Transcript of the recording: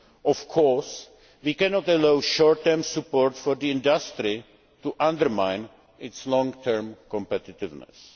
Of course, we cannot allow short term support for the industry to undermine its long term competitiveness.